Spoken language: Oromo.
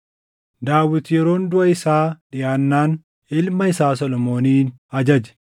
Daawit Yeroon duʼa isaa dhiʼaannaan ilma isaa Solomoonin ajaje.